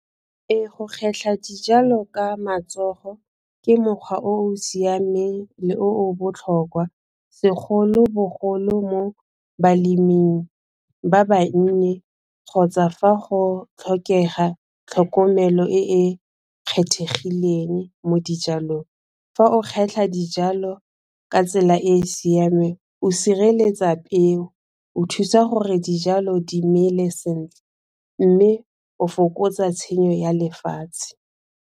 Ee go kgetlha dijalo ka matsogo ke mokgwa o o siameng le oo botlhokwa segolobogolo mo baleming ba bannye kgotsa fa go tlhokega tlhokomelo e e kgethegileng mo dijalong. Fa o kgetlha dijalo ka tsela e e siameng o sireletsa peo o thusa gore dijalo di mmele sentle mme o fokotsa tshenyo ya lefatshe.